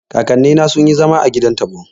Kakanni na sun yi zama a gidan taɓo